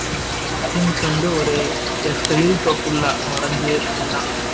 machines வந்து ஒரு எட்டு எழுதிக்கோ full ஆ கொரஞ்சு எல்லாம்